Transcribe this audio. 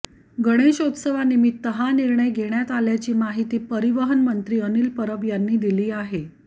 गणेशोत्सवानिमित्त हा निर्णय घेण्यात आल्याची माहिती परिवहन मंत्री अनिल परब यांनी दिली आहे